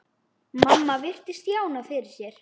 Mamma virti Stjána fyrir sér.